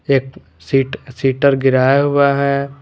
एक सीट शिटर गिराया हुआ है।